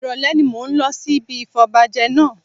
Ìrọ̀lẹ́ ni mò ń lọ sí ibi ìfọbajẹ náà